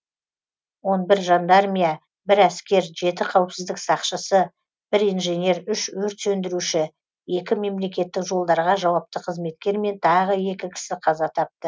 он бір жандармия бір әскер жеті қауіпсіздік сақшысы бір инженер үш өрт сөндіруші екі мемлекеттік жолдарға жауапты қызметкер мен тағы екі кісі қаза тапты